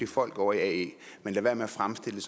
folk ovre i ae men lad være med at fremstille